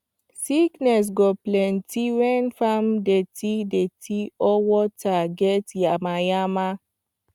sickness go plenty when farm dirty dirty or water get yamayama